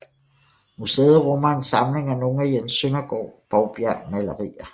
Museet rummer en samling af nogle af Jens Søndergaards Bovbjergmalerier